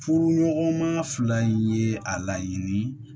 Furuɲɔgɔnma fila ye a laɲini